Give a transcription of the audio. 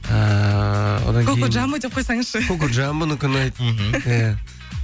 ііі коко джамбо деп қойсаңызшы коко джамбонікі ұнайды мхм иә